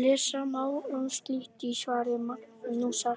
Lesa má um slitgigt í svari Magnúsar